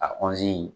A kɔntini